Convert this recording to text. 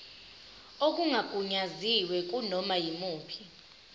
okungagunyaziwe kunoma yimuphi